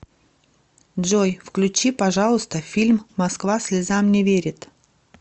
джой включи пожалуйста фильм москва слезам не верит